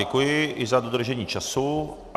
Děkuji i za dodržení času.